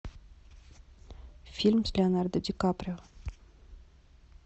фильм с леонардо ди каприо